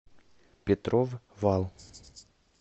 петров вал